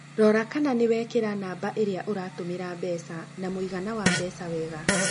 Rora kana nĩ wekĩra namba ĩrĩa ũratũmĩra mbeca na mũigana wa mbeca wega.